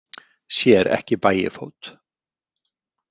Sér ekki Bægifót.